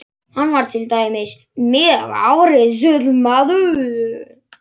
Hann var til dæmis mjög árrisull maður.